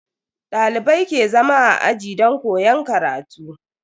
Dalibai ke zama a aji don koyon karatu.